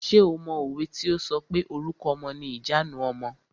Ṣé o mọ òwe tí o sọ pé "Orúkọ ọmọ ni ìjanu ọmọ".